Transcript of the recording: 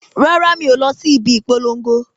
Rárá mi o lọ síbi ìpolongo